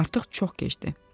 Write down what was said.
Artıq çox gecdir.